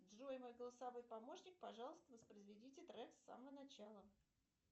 джой мой голосовой помощник пожалуйста воспроизведите трек с самого начала